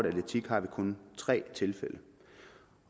atletik har vi kun tre tilfælde